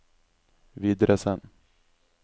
videresend